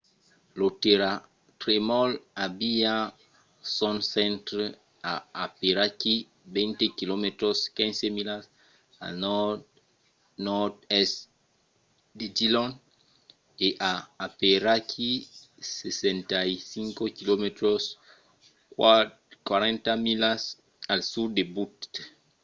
lo tèrratremol aviá son centre a aperaquí 20 km 15 milas al nòrd-nòrd-èst de dillon e a aperaquí 65 km 40 milas al sud de butte